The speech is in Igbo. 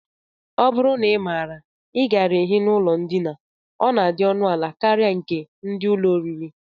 Ọ bụrụ na ị maara, I gaara ehi n'ụlọ ndina, ọ na-adị ọnụala karịa nke ndị ụlọ oriri